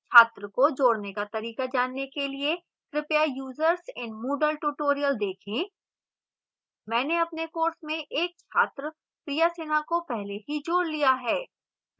छात्र को जोड़ने का तरीका जानने के लिए कृपया users in moodle tutorial देखें मैंने अपने course में एक छात्रा priya sinha को पहले ही जोड़ लिया है